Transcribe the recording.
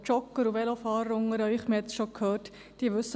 Jogger und Velofahrer unter Ihnen wissen, wovon ich spreche;